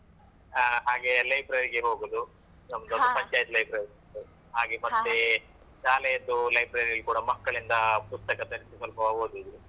ಹಾ ಹಾಗೆ library ಗೆ ಹೋಗುದು. ನಮ್ದೊಂದು ಪಂಚಾಯ್ತಿ library ಉಂಟು. ಹಾಗೆ ಮತ್ತೆ ಶಾಲೆಯದ್ದು library ಯಲ್ಲಿ ಕೂಡ ಮಕ್ಕಳಿಂದ ಪುಸ್ತಕ ತರಿಸಿ ಸ್ವಲ್ಪ ಓದುದು.